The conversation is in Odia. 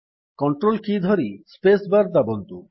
କଣ୍ଟ୍ରୋଲ କୀ ଧରି ସ୍ପେସ୍ ବାର୍ ଦାବନ୍ତୁ